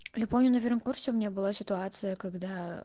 я помню на первом курсе у меня была ситуация когда